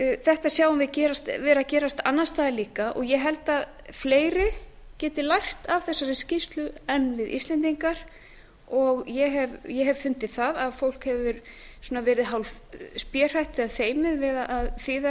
þetta sjáum við vera að gerast annars staðar líka og ég held að fleiri geti lært af þessari skýrslu en við íslendingar og ég hef fundið að fólk hefur verið hálfspéhrætt eða feimið við að þýða